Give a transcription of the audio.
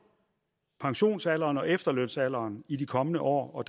pensionsalderen og efterlønsalderen i de kommende år og